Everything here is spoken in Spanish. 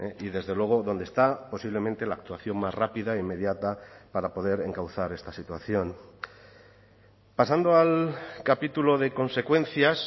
y desde luego dónde está posiblemente la actuación más rápida inmediata para poder encauzar esta situación pasando al capítulo de consecuencias